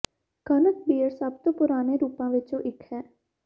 ਕਣਕ ਬੀਅਰ ਸਭ ਤੋਂ ਪੁਰਾਣੇ ਰੂਪਾਂ ਵਿਚੋਂ ਇਕ ਹੈ